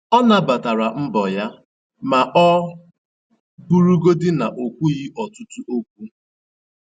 Ọ nabatara mbọ ya ma ọ bụrụgodị na - o kwughi ọtụtụ okwu